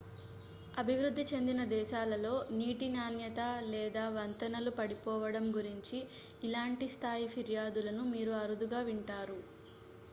అభివృద్ధి చెందిన దేశాలలో నీటి నాణ్యత లేదా వంతెనలు పడిపోవడం గురించి ఇలాంటి స్థాయి ఫిర్యాదులను మీరు అరుదుగా వింటారు